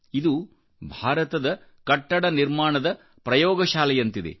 ಇದು ಭಾರತದ ಕಟ್ಟಡ ನಿರ್ಮಾಣದ ಪ್ರಯೋಗಶಾಲೆಯಂತಿದೆ